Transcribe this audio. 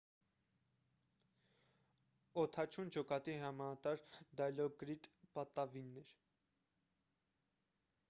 օդաչուն ջոկատի հրամանատար դայլոկրիտ պատավին էր